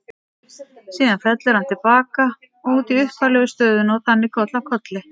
Síðan fellur hann til baka og út í upphaflegu stöðuna og þannig koll af kolli.